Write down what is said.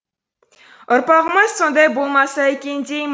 ұрпағымыз сондай болмаса екен деймін